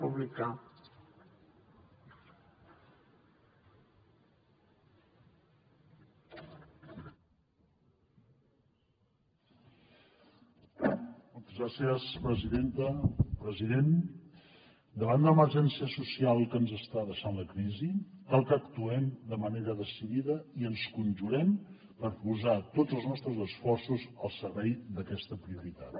president davant l’emergència social que ens està deixant la crisi cal que actuem de manera decidida i ens conjurem per posar tots els nostres esforços al servei d’aquesta prioritat